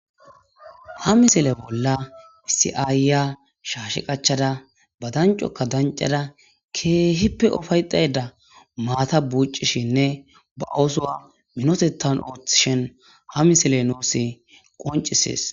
Ha misile bolla issi ayiya shashshe qaccada ba danccokka danccada keehippe uffayetaydda maata buuccishenne ba oosuwa miinitetan ooththishin ha misiley nuus qonccises